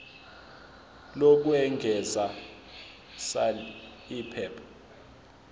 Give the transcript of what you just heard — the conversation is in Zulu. lokwengeza sal iphepha